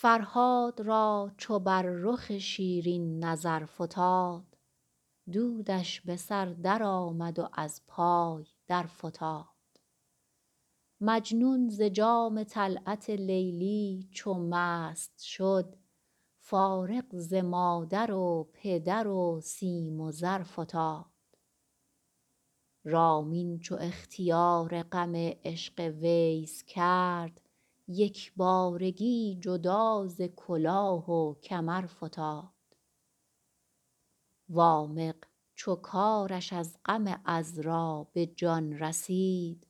فرهاد را چو بر رخ شیرین نظر فتاد دودش به سر درآمد و از پای درفتاد مجنون ز جام طلعت لیلی چو مست شد فارغ ز مادر و پدر و سیم و زر فتاد رامین چو اختیار غم عشق ویس کرد یک بارگی جدا ز کلاه و کمر فتاد وامق چو کارش از غم عـذرا به جان رسید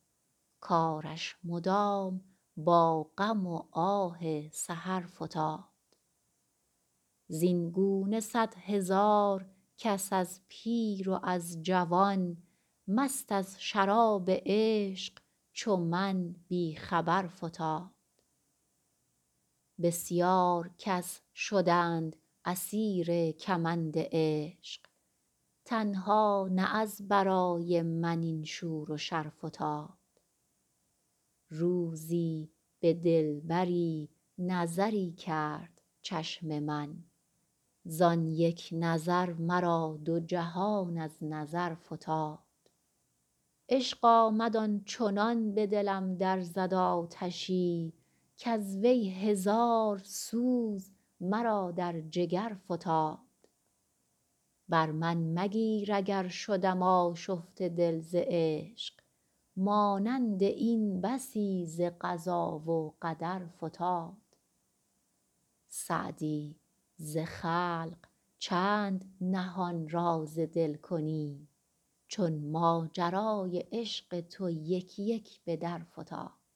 کارش مدام با غم و آه سحر فتاد زین گونه صدهزار کس از پیر و از جوان مست از شراب عشق چو من بی خبر فتاد بسیار کس شدند اسیر کمند عشق تنها نه از برای من این شور و شر فتاد روزی به دلبری نظری کرد چشم من زان یک نظر مرا دو جهان از نظر فتاد عشق آمد آن چنان به دلم در زد آتشی کز وی هزار سوز مرا در جگر فتاد بر من مگیر اگر شدم آشفته دل ز عشق مانند این بسی ز قضا و قدر فتاد سعدی ز خلق چند نهان راز دل کنی چون ماجرای عشق تو یک یک به در فتاد